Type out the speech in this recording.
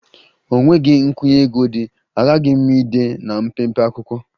Enweghị nkwụnye ego dị, aghaghị m ide na mpempe akwụkwọ